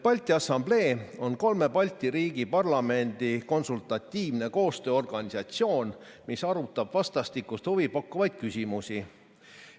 Balti Assamblee on kolme Balti riigi parlamendi konsultatiivne koostööorganisatsioon, mis arutab vastastikust huvi pakkuvaid küsimusi.